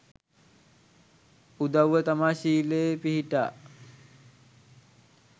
උදවුව තමා ශීලයේ පිහිටා